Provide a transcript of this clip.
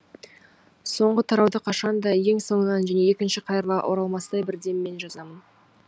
соңғы тарауды қашан да ең соңынан және екінші қайырыла оралмастай бір деммен жазамын